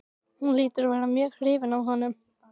Hún hlýtur að vera mjög hrifin af honum.